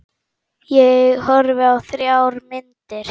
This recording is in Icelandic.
Ég horfði á þrjár myndir.